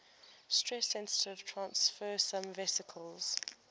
stress sensitive transfersome vesicles